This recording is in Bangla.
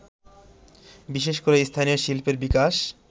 বিশেষ করে স্থানীয় শিল্পের বিকাশ